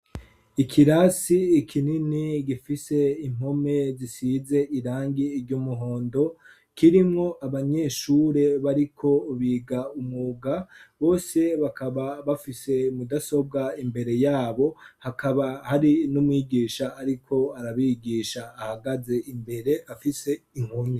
Ikirasi ikinini gifise impome zisize irangi ry'umuhondo kirimwo abanyeshure bariko biga umwuga. Bose bakaba bafise mudasobwa imbere yabo ; hakaba hari n'umwigisha ariko arabigisha ahagaze imbere afise inkoni.